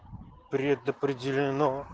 предопределено